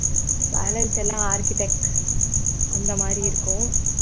balance எல்லாம் architech அந்த மாதிரி இருக்கும்